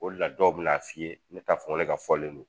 O d la dɔw bɛ n'a f'i ye ne t'a fɔ ŋo ne ka fɔlen don.